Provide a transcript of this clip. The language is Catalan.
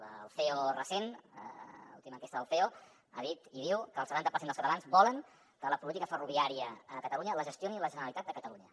el ceo recent l’última enquesta del ceo ha dit i diu que el setanta per cent dels catalans volen que la política ferroviària a catalunya la gestioni la generalitat de catalunya